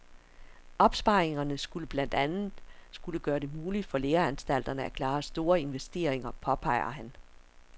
Opsparingerne skulle blandt andet skulle gøre det muligt for læreanstalterne at klare store investeringer, påpeger han.